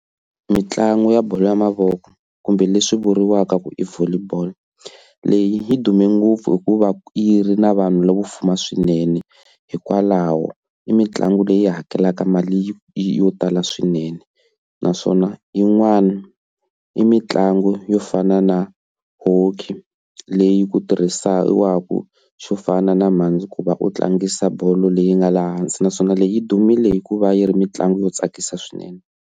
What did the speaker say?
Mitlangu ya bolo ya mavoko kumbe leswi vuriwaka ku i Volleyball leyi yi dume ngopfu hikuva yi ri na vanhu lavo fuma swinene hikwalaho i mitlangu leyi hakelaka mali yo tala swinene, naswona yin'wana i mitlangu yo fana na Hockey leyi ku tirhisiwaku xo fana na mhandzi ku va u tlangisa bolo leyi nga laha hansi naswona leyi dumile hikuva yi ri mitlangu yo tsakisa swinene.